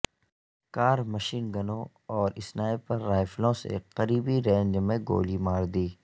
کار machine گنوں اور sniper رائفلوں سے قریبی رینج میں گولی مار دی